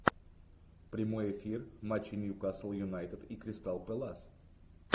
прямой эфир матча ньюкасл юнайтед и кристал пэлас